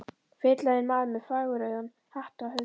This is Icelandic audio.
Feitlaginn maður með fagurrauðan hatt á höfði.